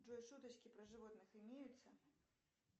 джой шуточки про животных имеются